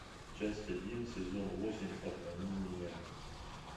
часть один сезон восемь обмани меня